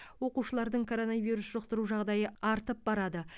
оқушылардың коронавирус жұқтыру жағдайы артып барады